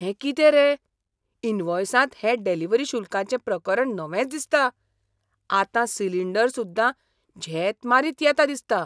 हें कितें रे? इनव्हॉयसांत हें डिलिव्हरी शुल्काचें प्रकरण नवेंच दिसता. आतां सिलिंडर सुद्दा झेत मारीत येता दिसता!